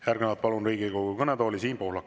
Järgnevalt palun Riigikogu kõnetooli Siim Pohlaku.